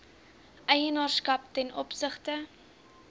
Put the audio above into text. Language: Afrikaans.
eienaarskap ten opsigte